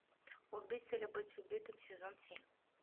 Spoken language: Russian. убить или быть убитым сезон семь